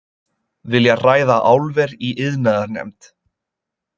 Vilja ræða álver í iðnaðarnefnd